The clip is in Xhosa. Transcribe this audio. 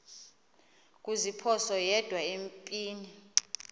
kuziphosa yedwa empini